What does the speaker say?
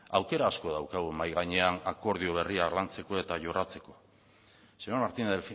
aukera asko daukagu mahai gainean akordio berriak lantzeko eta jorratzeko señor martínez